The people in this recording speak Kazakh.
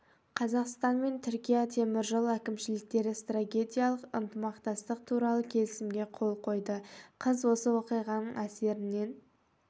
қазақстан мен түркия темір жол әкімшіліктері стратегиялық ынтымақтастық туралы келісімге қол қойды қыз осы оқиғаның әсерінен